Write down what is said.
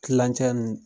Kilancɛ nn